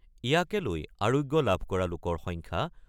ইয়াকে লৈ আৰোগ্য লাভ কৰা লোকৰ সংখ্যা